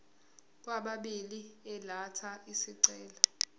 kwababili elatha isicelo